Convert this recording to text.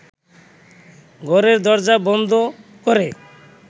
ঘরের দরজা বন্ধ করে